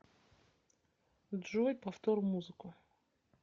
джой повтор музыку